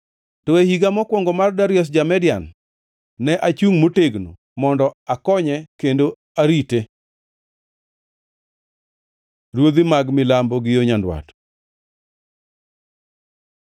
To e higa mokwongo mar Darius Ja-Median, ne achungʼ motegno mondo akonye kendo arite.) Ruodhi mag milambo gi nyandwat